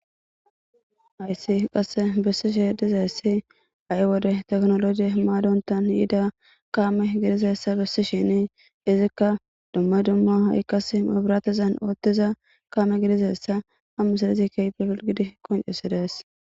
Ayssi qasse bessishe dizayssi a'i wode teknolojiy maadontan yiida kaame gidizessa bissishini izikka dumme dumma haikkas mabiratizan oottiza kaame gidizessa hammisadizi keybofil gidi koncesides.